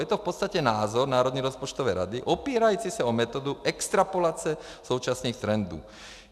Je to v podstatě názor Národní rozpočtové rady opírající se o metodu extrapolace současných trendů.